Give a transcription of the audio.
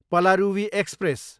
Palaruvi express